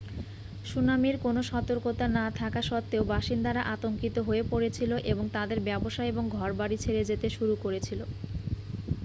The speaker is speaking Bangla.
সুনামির কোনও সতর্কতা না থাকা সত্ত্বেও বাসিন্দারা আতঙ্কিত হয়ে পরেছিল এবং তাদের ব্যবসা এবং ঘরবাড়ি ছেড়ে যেতে শুরু করেছিল